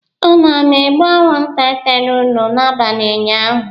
Unu ana-egbu anwụnta tara unu n'abalị ụnyaahụ?